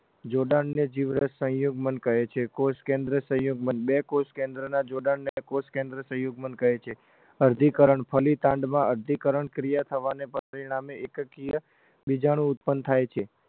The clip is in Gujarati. જોડાણને જીવરસ સંયુગ્મન કહે છે કોષકેન્દ્ર સંયુગ્મન બે કોષકેન્દ્રના જોડાણને કોષકેન્દ્ર સંયુગ્મન કહે છે અર્ધીકરણ ફલીતાંડમાં અર્ધીકરણ ક્રિયા થવાના પરિણામે એકકીય વીજાણુ ઉત્પન્ન થાય છે